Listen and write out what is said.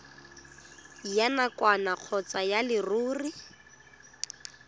ya nakwana kgotsa ya leruri